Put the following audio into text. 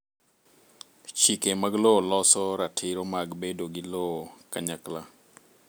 Chike mag lowo loso ratiro mag bedo gi lowo kanyakla